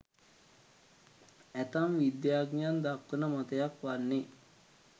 ඇතැම් විද්‍යාඥයන් දක්වන මතයක් වන්නේ